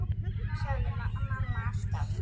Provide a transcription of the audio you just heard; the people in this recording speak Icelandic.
sagði mamma alltaf.